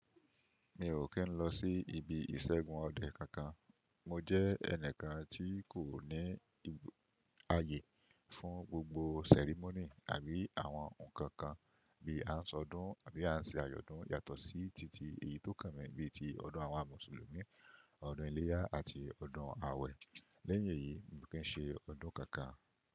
Mi ò kí n lọ sí ibi ìṣẹ́gun ọdẹ kankan. Mo jẹ́ ẹnìkan tí kò ní ààyè fún gbogbo sẹ̀rímónì àbí àwọn ǹnkan kan bí a ń sọ ọdún àbí a ń ṣe àyọ̀dún yàtọ̀ sí titi èyí tó kàn mí bí i ti ọdún àwọn mùsùlùmí, ọdún iléyá àti ọdún àwẹ̀. Lẹ́yìn èyí, mi kin ṣe ọdún kankan.